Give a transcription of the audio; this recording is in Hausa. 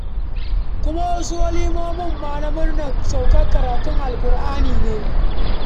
Kuma wasu walimomin ma na murnar saukar karatun Alƙur'ani ne.